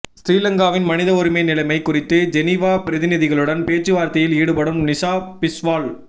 சிறிலங்காவின் மனித உரிமை நிலைமை குறித்து ஜெனீவா பிரதிநிதிகளுடன் பேச்சுவார்த்தையில் ஈடுபடும் நிஷா பிஷ்வால்